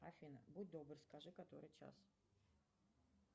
афина будь добр скажи который час